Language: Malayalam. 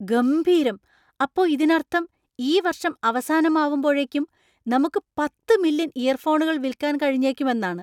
ഗംഭീരം! അപ്പൊ ഇതിനർത്ഥം ഈ വർഷം അവസാനമാവുമ്പോഴേക്കും നമുക്ക് പത്ത് മില്യൺ ഇയർഫോണുകൾ വിൽക്കാൻ കഴിഞ്ഞേക്കും എന്നാണ് !